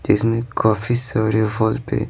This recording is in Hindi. जिसमें काफी सारे फल पे--